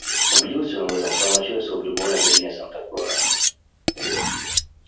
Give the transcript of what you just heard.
убедился он в этом в самом начале своего пребывания в долине санта клара